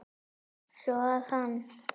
Svo að hann.